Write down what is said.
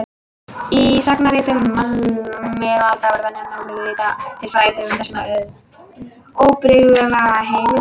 Í sagnaritum miðalda var venjan að vitna til frægra höfunda sem óbrigðulla heimilda.